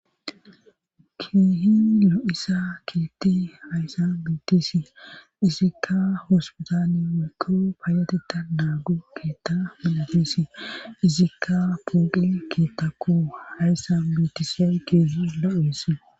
keehin lo7iza keethe hayssa biitisi izikka hosbetani wolkoo paayateta naagu keetta milatesi izikka pooqi keetta ko hayssa bitise keezi lo7esi